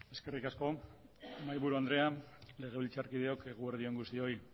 eskerrik asko mahaia buru andrea legebiltzarkideok eguerdi on guztioi